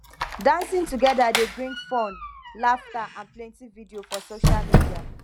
dancing together dey bring fun laughter and plenty video for social media